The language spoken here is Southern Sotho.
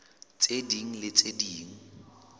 tse ding le tse ding